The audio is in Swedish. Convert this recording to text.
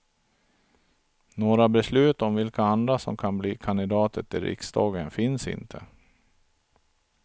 Några beslut om vilka andra som kan bli kandidater till riksdagen finns inte.